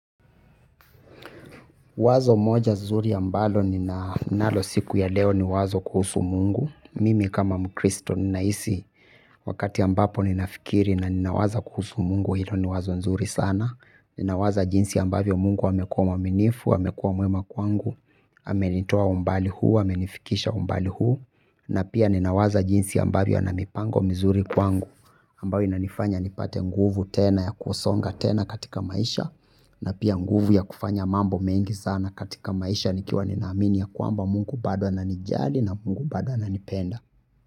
Wazo moja zuri ambalo ninanalo siku ya leo ni wazo kuhusu mungu, mimi kama mkristo ninahisi wakati ambapo ninafikiri na ninawaza kuhusu mungu, hilo ni wazo nzuri sana, ninawaza jinsi ambavyo mungu wamekua mwaminifu, amekuwa mwema kwangu, amenitoa umbali huu, amenifikisha umbali huu, na pia ninawaza jinsi ambavyo ana mipango mizuri kwangu, ambayo inanifanya nipate nguvu tena ya kusonga tena katika maisha na pia nguvu ya kufanya mambo mengi sana katika maisha nikiwa ninaamini ya kwamba mungu bado ananijali na mungu bado ananipenda.